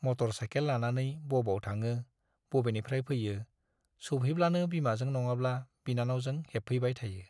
Motor cycle लानानै बबाव थाङो, बबेनिफ्राय फैयो-सौफेब्लानो बिमाजों नङाब्ला बिनानावजों हेबफैबाय थायो।